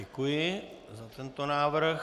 Děkuji za tento návrh.